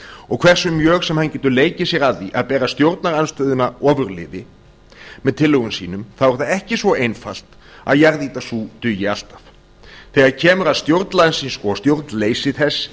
og hversu vel hann getur leikið sér að því að bera stjórnarandstöðuna ofurliði með tillögum sínum þá er það ekki svo einfalt að jarðýta sú dugi alltaf þegar kemur að stjórn landsins og stjórnleysi þess